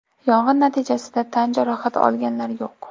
Yong‘in natijasida tan jarohati olganlar yo‘q.